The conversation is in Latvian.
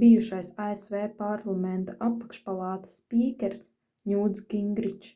bijušais asv parlamenta apakšpalātas spīkers ņūts gingričs